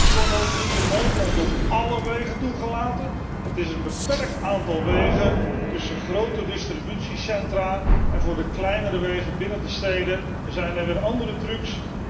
Deze trucks worden ook in Nederland niet op álle wegen toegelaten. Het gaat over een beperkt aantal wegen tussen grote distributiecentra en voor de kleinere wegen binnen de steden zijn er weer andere trucks.